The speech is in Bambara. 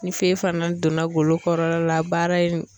Ni fɛn fana donna golo kɔrɔla la baara in